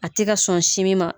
A tɛ ka sɔn sinmi ma